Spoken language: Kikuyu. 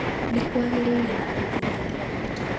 Nĩ kwagĩire na ũthuthuria mũingĩ.